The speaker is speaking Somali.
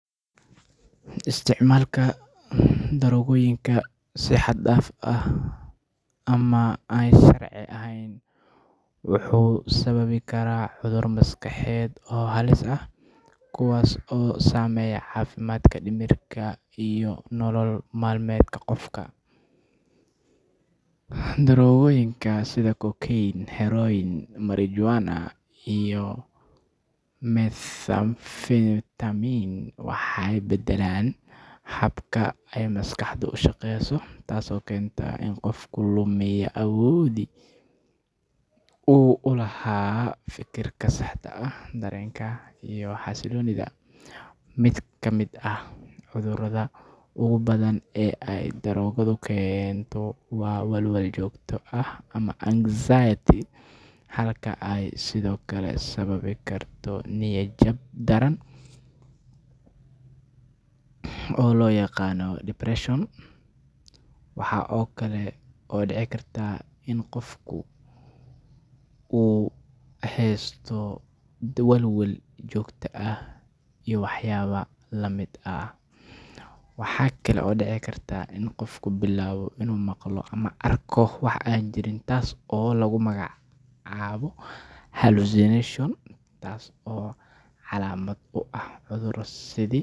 Isticmaalka daroogooyinka si xad-dhaaf ah ama aan sharci ahayn wuxuu sababi karaa cudurro maskaxeed oo halis ah kuwaas oo saameeya caafimaadka dhimirka iyo nolol maalmeedka qofka. Daroogooyinka sida cocaine, heroin, marijuana, iyo methamphetamine waxay beddelaan habka ay maskaxdu u shaqeyso, taasoo keenta in qofku lumiya awooddii uu u lahaa fikirka saxda ah, dareenka, iyo xasilloonida. Mid ka mid ah cudurrada ugu badan ee ay daroogadu keento waa walwal joogto ah ama anxiety, halka ay sidoo kale sababi karto niyad-jab daran oo loo yaqaanno depression. Waxaa kale oo dhici karta in qofku bilaabo inuu maqlo ama arko wax aan jirin taasoo lagu magacaabo hallucination, taasoo calaamad u ah cudurro.